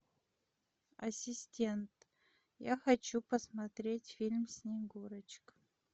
ассистент я хочу посмотреть фильм снегурочка